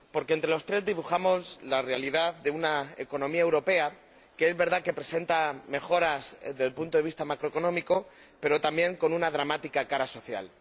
Entre los tres se dibuja la realidad de una economía europea que, es verdad que presenta mejoras desde el punto de vista macroeconómico, pero también ofrece una dramática cara social.